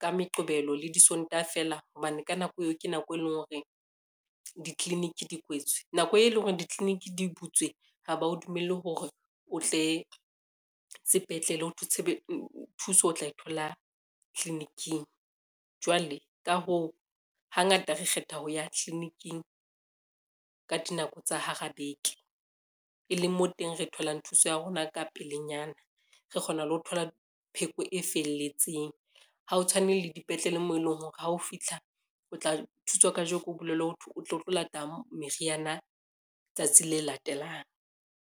ka Meqebelo le Disontaha fela hobane ka nako eo ke nako e leng hore ditliliniki di kwetswe. Nako e leng hore ditliliniki di butswe ha ba o dumelle hore o tle sepetlele ho thwe thuso o tla e thola tliliniking jwale ka hoo, hangata re kgetha ho ya tliliniking ka dinako tsa hara beke, e leng mo teng re tholang thuso ya rona ka pelenyana. Re kgona le ho thola pheko e felletseng, ha o tshwane le dipetlele mo e leng hore ha o fitlha o tla thuswa kajeno, o bolellwe ho thwe o tle o tlo lata meriana tsatsi le latelang.